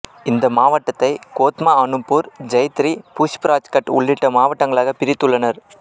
இந்த மாவட்டத்தை கோத்மா அனூப்பூர் ஜைத்தரி புஷ்ப்ராஜ்கட் உள்ளிட்ட வட்டங்களாகப் பிரித்துள்ளனர்